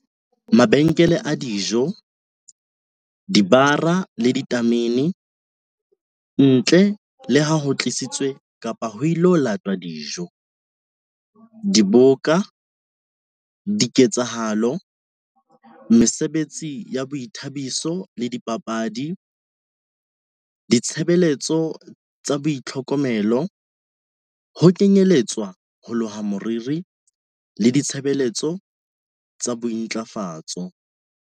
Mabenkele a dijo, dibara le ditamene, ntle le ha ho tlisitswe kapa ho ilo latwa dijo. Diboka, diketsahalo, mesebetsi ya boithabiso le dipapadi. Ditshebeletso tsa boitlhokomelo, ho kenyeletswa ho loha moriri le ditshe-beletso tsa bointlafatso.